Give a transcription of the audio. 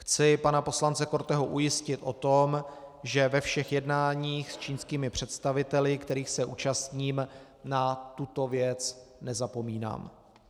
Chci pana poslance Korteho ujistit o tom, že ve všech jednáních s čínskými představiteli, kterých se účastním, na tuto věc nezapomínám.